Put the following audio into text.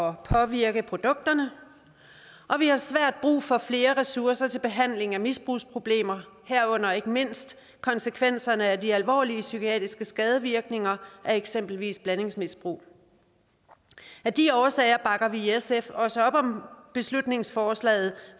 at påvirke produkterne og vi har svært brug for flere ressourcer til behandlingen af misbrugsproblemer herunder ikke mindst konsekvenserne af de alvorlige psykiske skadevirkninger af eksempelvis blandingsmisbrug af de årsager bakker vi i sf også op om beslutningsforslaget